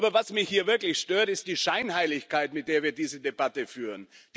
Aber was mich hier wirklich stört, ist die Scheinheiligkeit, mit der wir diese Debatte führen.